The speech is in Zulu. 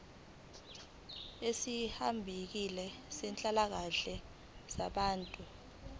ezisihaqile zenhlalakahle yabantu